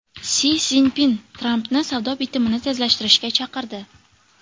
Si Szinpin Trampni savdo bitimini tezlashtirishga chaqirdi.